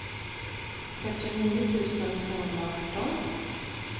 fyrtionio tusen tvåhundraarton